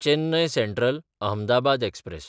Chennai Central-Ahmedabad express